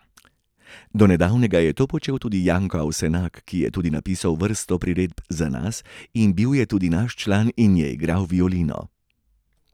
Do nedavnega je to počel tudi Janko Avsenak, ki je tudi napisal vrsto priredb za nas in bil je tudi naš član in je igral violino.